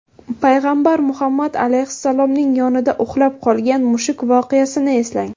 Payg‘ambar Muhammad alayhissalomning yonida uxlab qolgan mushuk voqeasini eslang.